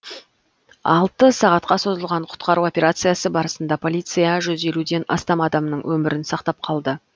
алты сағатқа созылған құтқару операциясы барысында полиция жүз елуден астам адамның өмірін сақтап қалды